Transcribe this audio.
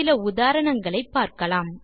சில உதாரணங்களை பார்க்கலாம்